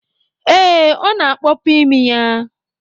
Ee, ọ na-akpọpu imi ya?